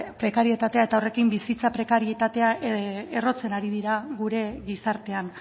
prekarietatea eta horrekin bizitza prekarietatea errotzen ari dira gure gizartean